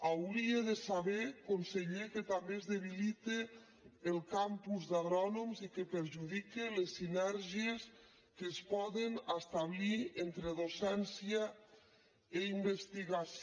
hauria de saber conseller que també es debilita el campus d’agrònoms i que perjudica les sinergies que es poden establir entre docència i investigació